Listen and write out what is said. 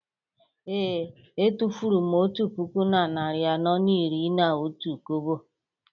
Ee. Etufuru m otu puku na narị anọ na iri na otu kobo